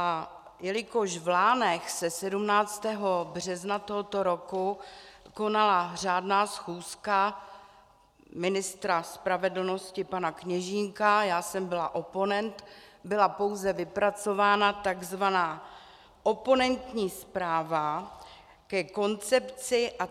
A jelikož v Lánech se 17. března tohoto roku konala řádná schůzka ministra spravedlnosti pana Kněžínka, já jsem byla oponent, byla pouze vypracována tzv. oponentní zpráva ke koncepci a